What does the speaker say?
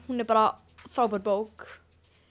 hún er bara frábær bók